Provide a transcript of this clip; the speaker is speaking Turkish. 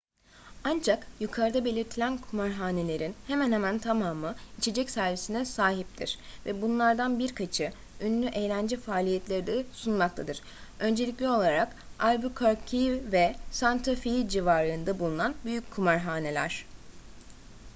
ancak yukarıda belirtilen kumarhanelerin hemen hemen tamamı içecek servisine sahiptir ve bunlardan birkaçı ünlü eğlence faaliyetleri de sunmaktadır öncelikli olarak albuquerque ve santa fe civarında bulunan büyük kumarhaneler